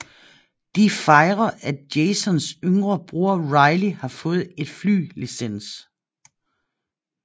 De fejre at Jasons yngre bror Riley har fået et fly licens